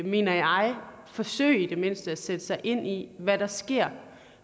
mener jeg forsøge i det mindste at sætte sig ind i hvad der sker